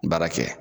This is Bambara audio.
Baara kɛ